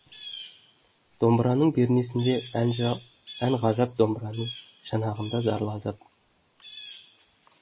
домбыраның пернесінде ән ғажап домбыраның шанағында зарлы азап